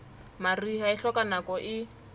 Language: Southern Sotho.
mariha e hloka nako e